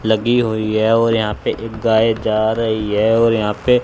लगी हुई है और यहां पे एक गाय जा रही है और यहां पे--